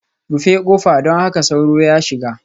Rufe kofa, don kada sauro ya shiga